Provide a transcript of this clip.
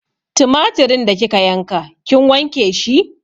Tumatirin da kika yanka kin wanke shi?